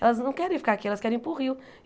Elas não querem ficar aqui, elas querem ir para o rio.